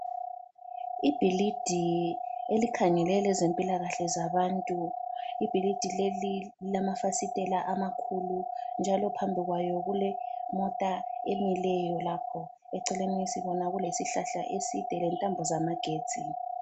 Ibhilidi elikhangele lezempilakahle zabantu. Ibhilidi leli lilamafasitela amakhulu njalo phambi kwayo kulemota emileyo lapho, eceleni sibona kulesihlahla eside lentambo zamagetsi